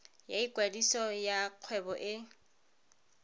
ya ikwadiso ya kgwebo e